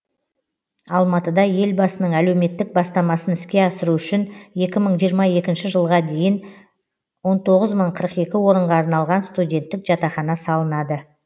алматыда елбасының әлеуметтік бастамасын іске асыру үшін екі мың жиырма екінші жылға дейін он тоғыз мың қырық екі орынға арналған студенттік жатақхана салынады